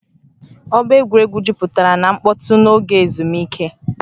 Ọgba egwuregwu jupụtara na mkpọtụ n'oge ezumike